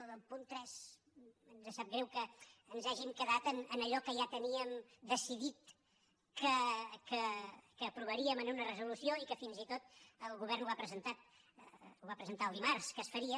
en el punt tres ens sap greu que ens hàgim quedat en allò que ja teníem decidit que aprovaríem en una resolució i que fins i tot el govern ho ha presentat ho va presentar el dimarts que es faria